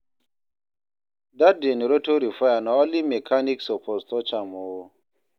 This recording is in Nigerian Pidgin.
Dat generator repair, na only mechanic suppose touch am o.